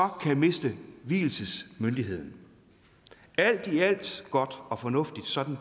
kan miste vielsesmyndigheden alt i alt godt og fornuftigt sådan